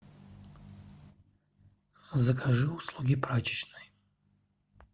закажи услуги прачечной